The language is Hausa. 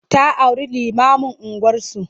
Ta auri limamun unguwarsu.